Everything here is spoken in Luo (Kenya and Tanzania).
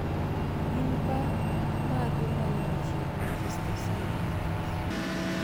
gin bar mage ma ni machiegni gi stesen ma bas?